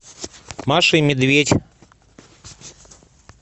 маша и медведь